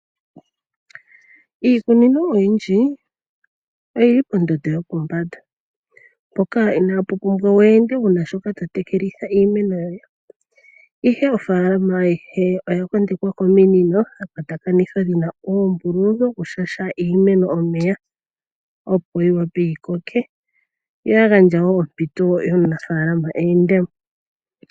Iikunino oyindji oyi li pondondo yopombanda mpoka inaa pu pumbwa wu ende wu na shoka to tekelitha iimeno yoye, ihe ofaalama ayihe oya kondekwa kominino dha kwatakanithwa dhi na uumbululu wokushasha iimeno omeya, opo yi wape yi koke yo ya gandja wo ompito yomunafaalama e ende mo.